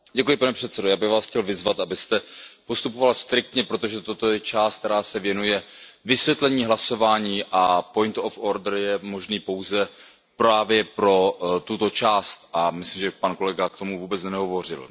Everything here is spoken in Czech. Pane předsedající, já bych vás chtěl vyzvat, abyste postupoval striktně, protože toto je část, která se věnuje vysvětlení hlasování, a je možný pouze právě pro tuto část a myslím, že pan kolega k tomu vůbec nehovořil.